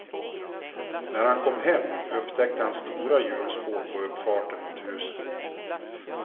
När han kom hem upptäckte han stora hjulspår på uppfarten mot huset.